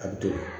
A bɛ to